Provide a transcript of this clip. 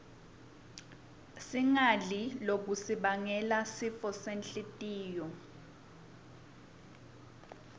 singadli lokutnsi bangela sifosenhltiyo